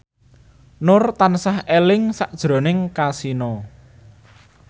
Nur tansah eling sakjroning Kasino